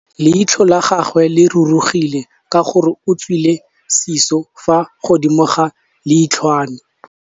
Leitlhô la gagwe le rurugile ka gore o tswile sisô fa godimo ga leitlhwana.